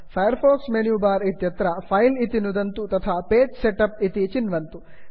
fire fox menu bar इत्यत्र file file इति नुदन्तु तथा page setup page set up इति चिन्वन्तु